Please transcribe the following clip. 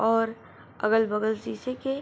और अगल-बगल शीशे के।